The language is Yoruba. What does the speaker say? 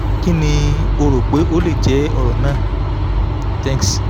kí ni o o rò pé ó lè jẹ́ ọ̀rọ̀ náà? thnks